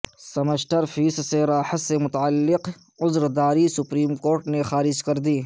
semester fee سے راحت سے متعلق عذرداری سپریم کورٹ نے خارج کردی